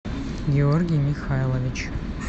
георгий михайлович